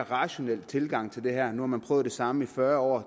rationel tilgang til det her nu har man prøvet det samme i fyrre år